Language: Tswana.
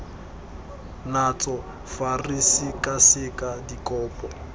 natso fa re sekaseka dikopo